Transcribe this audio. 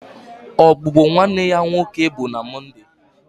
Ogbugbu nwanne ya nwoke bụ na Mọnde